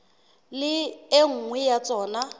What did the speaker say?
le e nngwe ya tsona